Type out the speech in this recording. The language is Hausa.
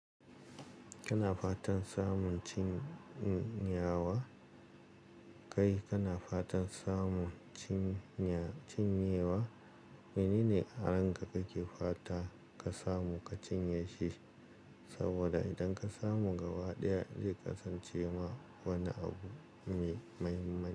Kana fatan samun cinyawa? Kai kana fatan samun cinyawa? Menene a ranka kake fatan ka samu ka cinye shi, saboda idan ka samu gaba ɗaya zai kasance ma wani abu mai mahimmanci.